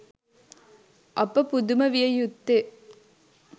අප පුදුම විය යුත්තේ